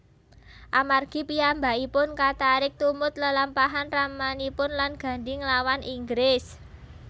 Amargi piyambakipun katarik tumut lelampahan ramanipun lan Gandhi nglawan Inggris